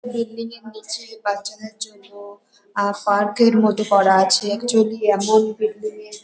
building -এর নিচে বাচ্চাদের জন্য আ পার্ক -এর মত করা আছে অ্যাকচুয়ালি এমন বিল্ডিং -এর --